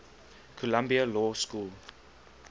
columbia law school